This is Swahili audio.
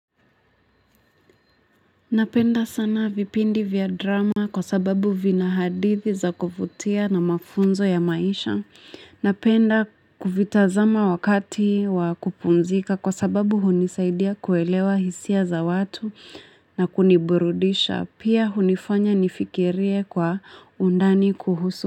Napenda sana vipindi vya drama kwa sababu vina hadithi za kuvutia na mafunzo ya maisha. Napenda kuvitazama wakati wa kupumzika kwa sababu hunisaidia kuelewa hisia za watu na kuniburudisha. Pia hunifanya nifikirie kwa undani kuhusu.